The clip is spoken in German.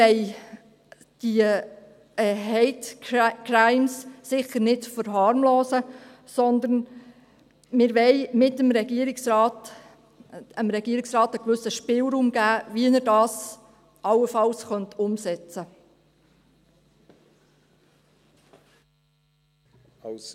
Wir wollen diese Hate Crimes sicher nicht verharmlosen, aber wir wollen dem Regierungsrat einen gewissen Spielraum geben, wie er das allenfalls umsetzen könnte.